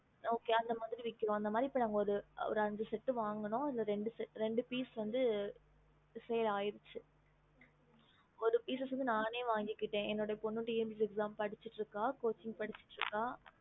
இப்போ அந்த மாரி ஐந்து set வன்கணோம் அதுல two set seal ஆய்டுச்சு அதுல ஒரு set நானே வாங்கிட்டா ஏ பொண்ணு TNPSC exam படிக்கிற